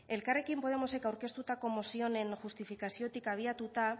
elkarrekin podemosek aurkeztutako mozioaren justifikaziotik abiatuta